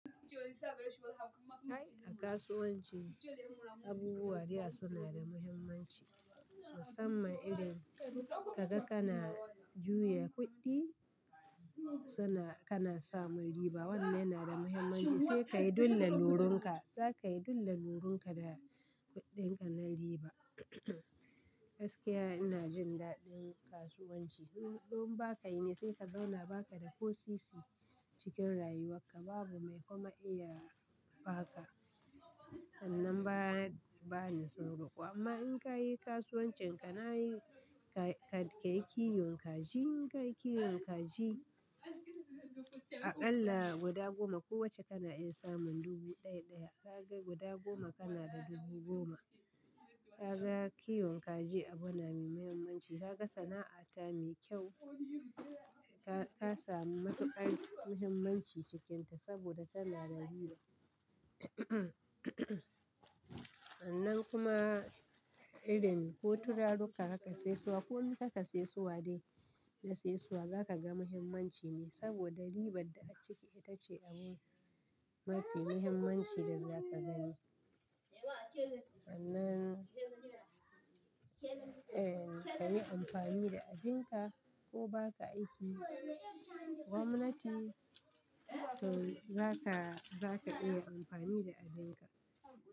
Ai a kasuwanci, abubuwa da yawa suna da muhimmanci. Musamman irin ka za kana juya kuɗi kai a kasuwanci, abubuwa da yawa suna da muhimmanci. Wannan yana da muhimmanci sai ka yi duk lalurin ka. Za ka yi duk lalurin ka da kuɗinka na riba. Gaskiya ina jin daɗin kasuwanci. Don ba ka yi ne sai ka zauna ba ka da ko sisi cikin rayuwarka. Babu mai kuma iya ba ka. Sannan ba, ba ni iya roko amma in ka yi kasuwancin ka na yi, ka, ka yi kiwon kaji. In ka yi kiwon kaji aƙalla guda goma kowacce kana iya samun dubu ɗaya ɗaya. Ka ga guda goma kana da dubu goma. Ka ga kiwon kaji abu na mai muhimmanci. Ka ga sana'a ta mai kyau. Ka, ka sami matuƙar muhimmanci cikinta saboda tana da riba. Sannan kuma irin ko turaruka haka sai suwa ko mi ka ka sai suwa dai ka ka sai suwa za ka ga muhimmancin nai saboda ribar da a ciki ita ce abu mafi muhimmanci da za ka gani. Sannan, eh, ka yi amfani da abin ka ko ba ka aiki gwamnati to za ka, za ka iya amfani da abin ka.